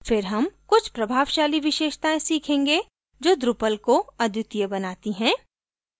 फिर हम कुछ प्रभावशाली विशेषताएँ सीखेंगे जो drupal को अद्वितीय बनाती हैं